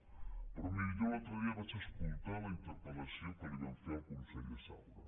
pe rò miri jo l’altre dia vaig escoltar la interpel·lació que li van fer al conseller saura